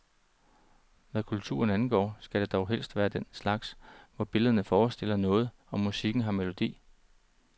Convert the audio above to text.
Hvad kulturen angår, skal det dog helst være den slags, hvor billederne forestiller noget, og musikken har melodi.